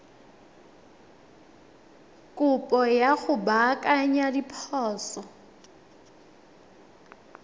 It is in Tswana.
kopo ya go baakanya diphoso